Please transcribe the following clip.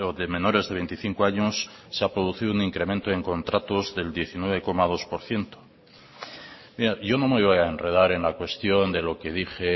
de menores de veinticinco años se ha producido un incremento en contratos del diecinueve coma dos por ciento yo no me voy a enredar en la cuestión de lo que dije